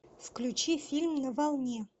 включи фильм на волне